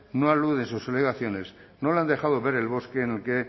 no alude en sus alegaciones no lo han dejado de ver el bosque que